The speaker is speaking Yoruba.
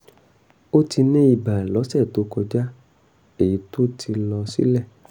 ó ti ní ibà lọ́sẹ̀ tó kọjá èyí tó ti lọ sílẹ̀